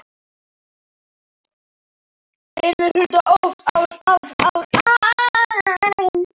Fyrri hluta árs.